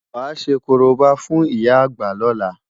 Wàá ṣe korobá fún ìyá àgbà lóla!